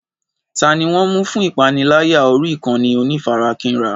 Ta ni wọ́n ń mú fún ìpániláyà orí ìkànnì onífarakínra?